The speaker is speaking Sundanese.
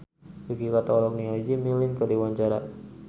Yuki Kato olohok ningali Jimmy Lin keur diwawancara